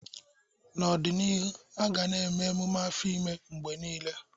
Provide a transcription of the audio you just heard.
N'ọdịnihu, a ga-eme ememe afọ ime mgbe niile.